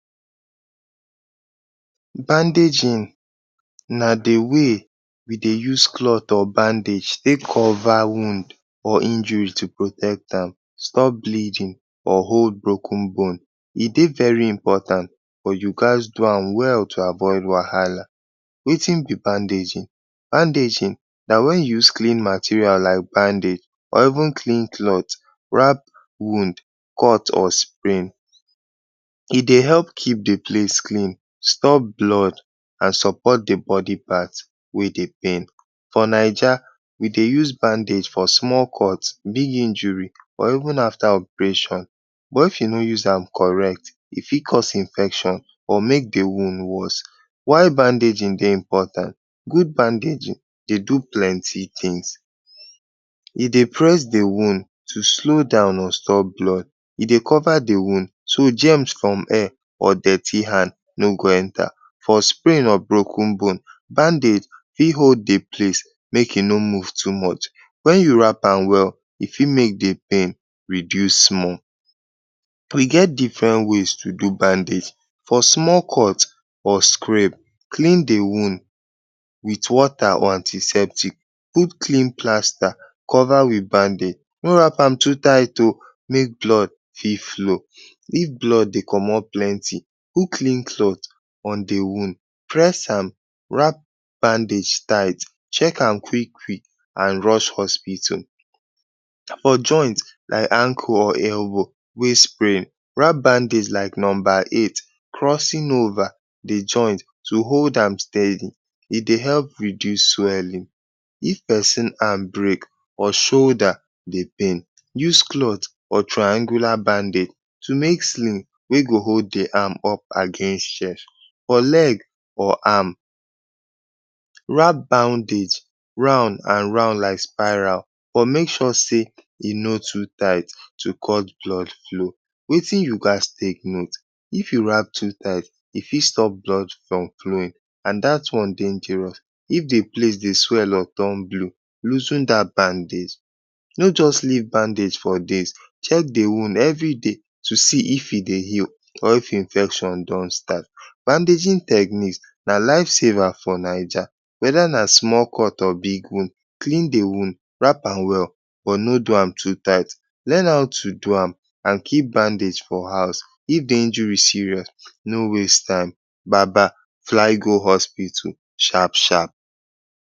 Bandaging na de way we dey use cloth or bandage take cover wound or injury to protect am, stop bleeding or hold broken bone. E dey very important but you ghats do am well to avoid wahala. Wetin be bandaging? Bandaging na wen you use clean material like bandage or even clean cloth wrap wound, cut or sprain. E dey help keep de place clean, stop blood and support de body part wey dey pain. For Naija, we dey use bandage for small cut, big injury or even after operation. But if you no use am correct, e fit cause infection or make de wound worse. Why bandaging dey important? Good bandaging dey do plenty things. E dey press de wound to slow down or stop blood. E dey cover de wound so germs from air or dirty hand no go enter. For sprain or broken bone, bandage fit hold de place make e no move too much. Wen you wrap am well, e fit make de pain reduce small. We get different ways to do bandaging. For small cut or scrap, clean de wound wit water or antiseptic. Put clean plaster, cover wit bandage. No wrap am too tight oo make blood fit flow. If blood dey comot plenty, put clean cloth on de wound, press am, wrap bandage tight, check am quick quick and rush hospital. For joint like ankle or wey sprain wrap bandage like number eight; crossing over de joint to hold am steady, e dey help reduce swelling. If person arm break or shoulder dey pain, use cloth or triangular bandage to make sling wey go hold de arm up against For leg or arm, wrap bandage round and round like spiral but make sure sey e no too tight to cut blood flow. Wetin you ghats take note? If you wrap too tight, e fit stop blood from flowing and dat one dangerous. If de place dey swell up turn blue, loosen dat bandage. No just leave bandage for days, check de wound everyday to see if e dey heal or if infection don start. Bandaging techniques na life saver for Naija whether na small cut or big wound, clean de wound, wrap am well but no do am too tight. Learn how to do am and keep bandage for house. If de injuries serious no waste time, baba fly go hospital sharp sharp.